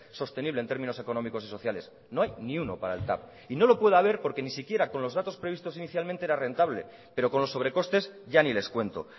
sostenible en términos económicos y sociales no hay ni uno para el tav y no lo puede haber porque ni siquiera con los datos previstos inicialmente era rentable pero con los sobrecostes ya ni les cuento